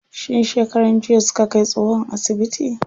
Shin shekaran jiya suka kai tsohon asibiti?